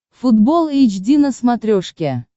футбол эйч ди на смотрешке